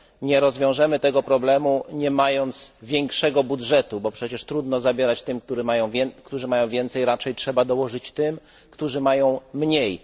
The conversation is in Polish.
Nie rozwiążemy tego problemu, nie mając większego budżetu, bo przecież trudno zabierać tym, którzy mają więcej, raczej trzeba dołożyć tym, którzy mają mniej.